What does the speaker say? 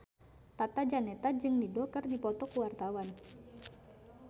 Tata Janeta jeung Dido keur dipoto ku wartawan